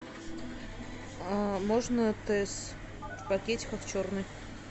нужно тесс в пакетиках черный